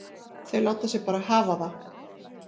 Þau láta sig bara hafa það.